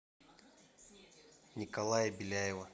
николая беляева